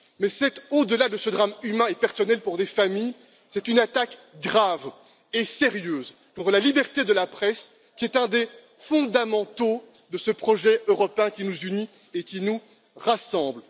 Mais, au delà de ce drame humain et personnel pour les familles, c'est une attaque grave et sérieuse contre la liberté de la presse, c'est un des fondamentaux de ce projet européen qui nous unit et qui nous rassemble.